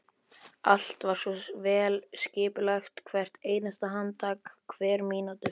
Allt var svo vel skipulagt, hvert einasta handtak, hver mínúta.